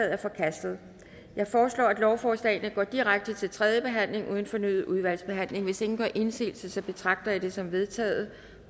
er forkastet jeg foreslår at lovforslagene går direkte til tredje behandling uden fornyet udvalgsbehandling hvis ingen gør indsigelse betragter jeg det som vedtaget